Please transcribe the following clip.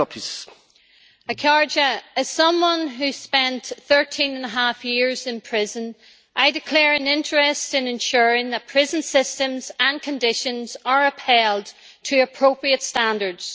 Mr President, as someone who has spent thirteen and a half years in prison, I declare an interest in ensuring that prison systems and conditions are upheld to appropriate standards.